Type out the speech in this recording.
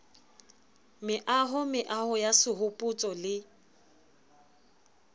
meaho meaho ya sehopotso le